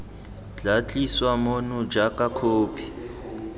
tla tliswa mono jang khopi